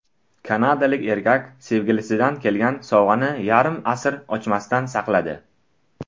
Kanadalik erkak sevgilisidan kelgan sovg‘ani yarim asr ochmasdan saqladi.